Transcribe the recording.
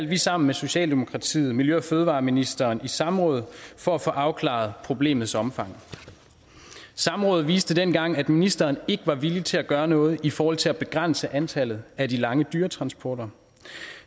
vi sammen med socialdemokratiet miljø og fødevareministeren i samråd for at få afklaret problemets omfang samrådet viste dengang at ministeren ikke var villig til at gøre noget i forhold til at begrænse antallet af de lange dyretransporter